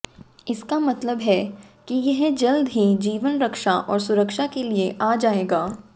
इसका मतलब है कि यह जल्द ही जीवन रक्षा और सुरक्षा के लिए आ जाएगा